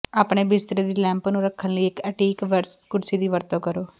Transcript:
ਆਪਣੇ ਬਿਸਤਰੇ ਦੀ ਲੈਂਪ ਨੂੰ ਰੱਖਣ ਲਈ ਇੱਕ ਐਂਟੀਕ ਕੁਰਸੀ ਦੀ ਵਰਤੋਂ ਕਰੋ